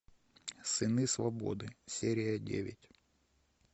сыны свободы серия девять